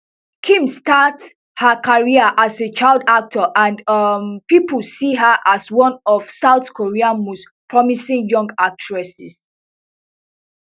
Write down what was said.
kim start her career as a child actor and um pipo see her as one of south korea most promising young actresses